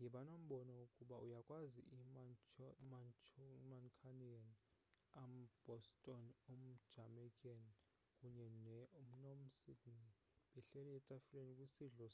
yiba nombono ukuba uyakwazi i-mancunian um-boston um-jamaica kunye ne-nom-sydney behleli etafileni kwisidlo